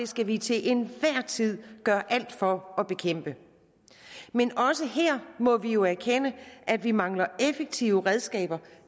skal vi til enhver tid gøre alt for at bekæmpe men også her må vi jo erkende at vi mangler effektive redskaber